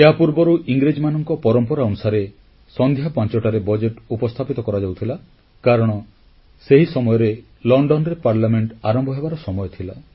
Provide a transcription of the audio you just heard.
ଏହାପୂର୍ବରୁ ଇଂରେଜମାନଙ୍କ ପରମ୍ପରା ଅନୁସାରେ ସନ୍ଧ୍ୟା 5ଟାରେ ବଜେଟ୍ ଉପସ୍ଥାପିତ କରାଯାଉଥିଲା କାରଣ ସେହି ସମୟରେ ଲଣ୍ଡନରେ ପାର୍ଲିଆମେଂଟ ଆରମ୍ଭ ହେବାର ସମୟ ଥିଲା